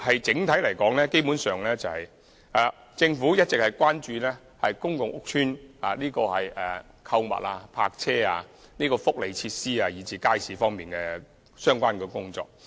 整體而言，政府基本上一直關注公共屋邨的購物、泊車和福利設施，以至街市方面的相關工作。